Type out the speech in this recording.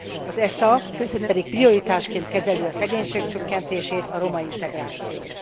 Az ESZA pedig prioritásként kezeli a szegénység csökkentést, a romaintegrációt.